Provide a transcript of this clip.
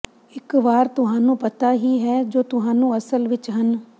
ਇੱਕ ਵਾਰ ਤੁਹਾਨੂੰ ਪਤਾ ਹੀ ਹੈ ਜੋ ਤੁਹਾਨੂੰ ਅਸਲ ਵਿੱਚ ਹਨ